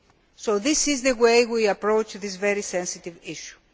So this is how we are approaching this very sensitive issue.